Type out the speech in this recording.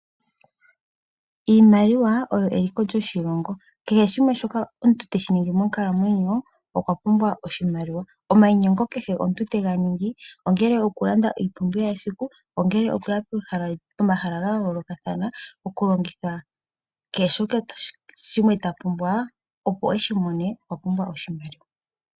Iimaliwa oyo eliko lyoshilongo kehe shimwe shoka omuntu ta ningi monkalamwenyo okwa pumbwa oshimaliwa. Omainyengo kehe omuntu tega ningi, ongele oku landa iipumbiwa yesiku, ongele okuya pomahala ga yoolokathana, kehe shimwe shoka ta pumbwa opo eshi mone, okwa pumbwa oshimaliwa.